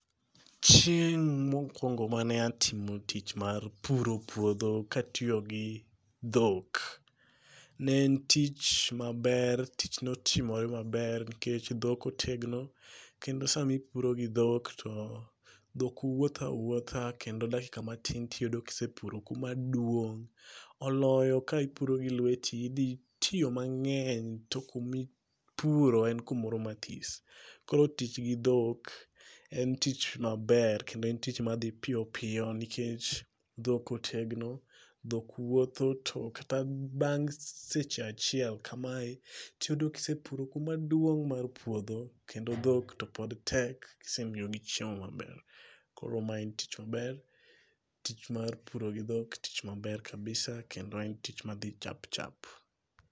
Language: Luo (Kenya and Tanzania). Chieng' mokwongo mane atimo tich mar puro puodho katiyo gi dhok. Ne en tich maber tich notimre maber nikech dhok otegno kendo samipuro gi dhok to, dhok wuotha awuoatha kendo dakika matin tiyudo kisepuro kumaduong'. Oloyo ka ipuro gilweti idhi tiyo mang'eny to kumi puro en kumoro mathis. Koro tich gi dhok en tich maber kendo en tich madhi piyopiyo nikech dhok otegno, dhok wuotho to kata bang' seche achiel kamae, tiyudo kisepuro kumaduong' mar puodho kendo dhok to pod tek kisemiyogi chiemo maber. Koro ma en tich maber, tich mar puro gi dhok tich maber kabisa kendo en tich madhi chapchap